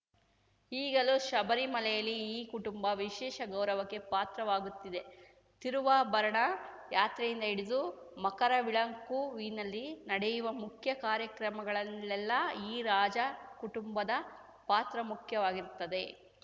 ಈಗಲೂ ಶಬರಿಮಲೆಯಲ್ಲಿ ಈ ಕುಟುಂಬ ವಿಶೇಷ ಗೌರವಕ್ಕೆ ಪಾತ್ರವಾಗುತ್ತಿದೆ ತಿರುವಾಭರಣ ಯಾತ್ರೆಯಿಂದ ಹಿಡಿದು ಮಕರವಿಳುಕ್ಕುವಿನಲ್ಲಿ ನಡೆಯುವ ಮುಖ್ಯ ಕಾರ್ಯಕ್ರಮಗಳಲ್ಲೆಲ್ಲಾ ಈ ರಾಜ ಕುಟುಂಬದ ಪಾತ್ರ ಮುಖ್ಯವಾಗಿರುತ್ತದೆ